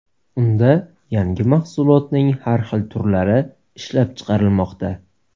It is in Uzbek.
Unda yangi mahsulotning har xil turlari ishlab chiqarilmoqda.